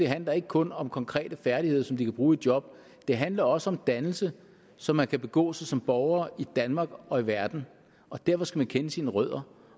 handler ikke kun om konkrete færdigheder som de kan bruge i job det handler også om dannelse så man kan begå sig som borger i danmark og i verden og derfor skal man kende sine rødder